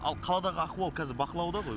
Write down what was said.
ал қаладағы ахуал қазір бақылауда ғой